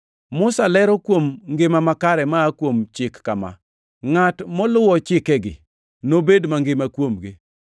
Musa lero kuom ngima makare maa kuom Chik kama: “Ngʼat moluwo chikegi nobed mangima kuomgi.” + 10:5 \+xt Lawi 18:5\+xt*